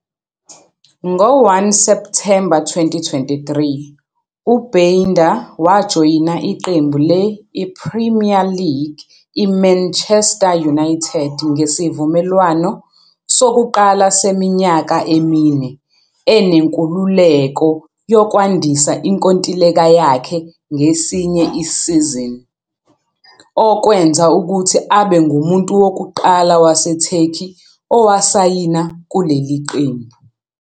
Ngo-1 Septhemba 2023, uBaynder wajoyina iqembu le-I-Premier League I-Manchester United ngesivumelwano sokuqala seminyaka emine, enenkululeko yokwandisa inkontileka yakhe ngesinye isizini, okwenza ukuthi abe ngumuntu wokuqala waseTurkey owasayina kuleli qembu.